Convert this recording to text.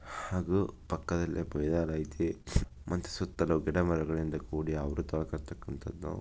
ಅದು ಪಕ್ಕದಲ್ಲೇ ಬಯಲಾಯ್ತಿ ಮತ್ತ್ ಸುತ್ತಲೂ ಗಿಡ ಮರಗಳಿಂದ ಕೂಡಿ ಆವ್ರುತವಾಗಿರತಕಂಥದ್ದು.